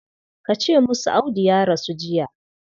Ka ce musu Audu ya rasu jiya.